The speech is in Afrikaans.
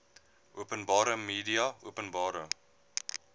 openbare media openbare